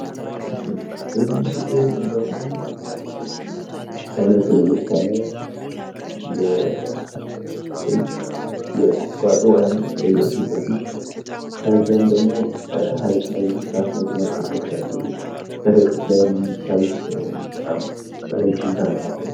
በዚህ ስእል ደግሞ በአይነቱ ለየት ያለ የቁጥቋጦ አይነት ይታያል ፊትለፊት፤ ከዛም ደግሞ ሃይቅ ላይ የሚንሳፈፉ መርከቦች አሉ። በርቀት ላይም የሚታይ በጣም ረጅም ተራራ አለ።